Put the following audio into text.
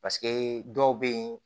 Paseke dɔw bɛ ye